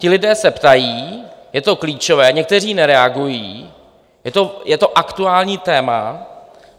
Ti lidé se ptají, je to klíčové, někteří nereagují, je to aktuální téma.